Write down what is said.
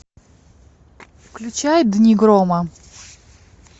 включай дни грома